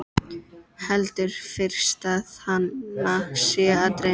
Heldur fyrst að hana sé að dreyma.